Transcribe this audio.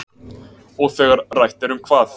Og þegar rætt er um hvað?